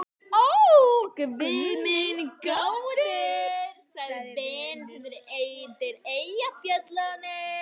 Ó, guð minn góður, sagði Venus undan Eyjafjöllum.